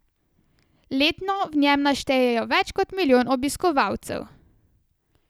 Letno v njem naštejejo več kot milijon obiskovalcev.